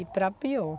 E para pior.